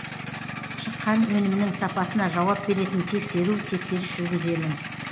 шыққан өнімнің сапасына жауап беретін тексеру тексеріс жүргіземін